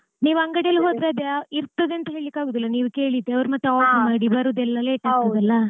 ನೀವ್ ಅಂಗಡೀಲ್ ಹೋದ್ರೆ ಅದು ಇರ್ತದೆ ಅಂತ ಹೇಳ್ಲಿಕ್ ಆಗೋದಿಲ್ಲ ನೀವ್ ಕೇಳಿದ್ದು ಅವ್ರ್ಮತ್ತ್ order ಮಾಡಿ ಬರೋದೆಲ್ಲ late ಆಗ್ತದಲ್ಲ.